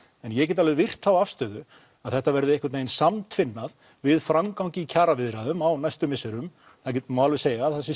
en ég get alveg virt þá afstöðu að þetta verði einhvern vegin samtvinnað við framgang í kjaraviðræðum á næstu misserum það má alveg segja að það sé